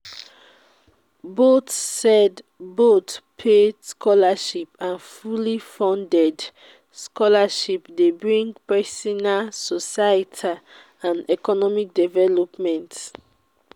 both paid both paid scholarships and fully funded scholarships de bring personal soietal and economic development